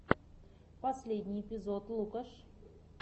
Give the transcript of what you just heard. последний эпизод лукаш